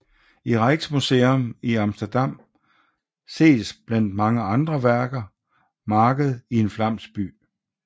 I Rijksmuseum i Amsterdam ses blandt mange andre arbejder Marked i en flamsk by